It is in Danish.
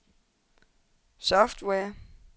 software